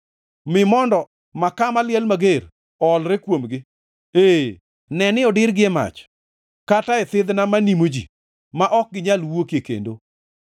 Mi mondo makaa maliel mager oolre kuomgi, ee, ne ni odirgi e mach, kata e thidhna ma nimo ji, ma ok ginyal wuokie kendo.